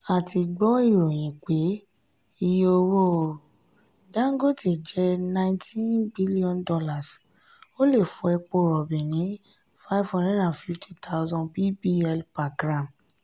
a ti gbọ́ ìròyìn pé iye owó dangote jẹ́ $ nineteen b ó lè fò epo rọ̀bì ní five hundred fifty thousand bbl/g.